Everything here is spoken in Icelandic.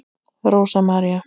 Rósa María.